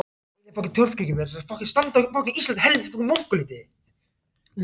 Ein af fáum torfkirkjum sem enn standa á Íslandi.